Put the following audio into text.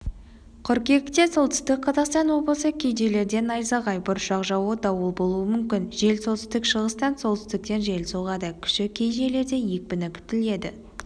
қыркүйекте солтүстік-қазақстан облысы кей жерлерде найзағай бұршақ жаууы дауыл болуы мүмкін жел солтүстік-шығыстан солтүстіктен жел соғады күші кей жерлерде екпіні күтіледі